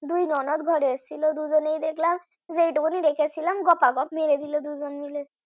দুই ননদ ঘরে এসেছিল দুজনেই দেখলাম যেটুকুনি রেখেছিলাম গপাগপ মেরে দিল দুজনে ।